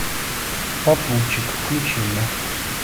попутчик включи мне